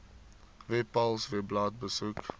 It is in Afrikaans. webpals webblad besoek